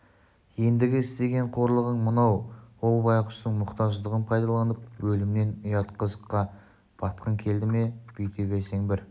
ендігі істеген қорлығың мынау ол байғұстың мұқтаждығын пайдаланып өлімнен ұят қызыққа батқың келеді бүйте берсең бір